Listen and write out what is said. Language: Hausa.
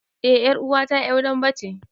Eh ƴaruwa ta ƴar dambe ce.